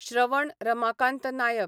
Shravan Ramakant Naik